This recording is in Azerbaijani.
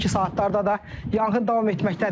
Hazırki saatlarda da yanğın davam etməkdədir.